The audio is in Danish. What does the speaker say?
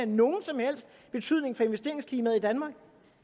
nogen som helst betydning for investeringsklimaet i danmark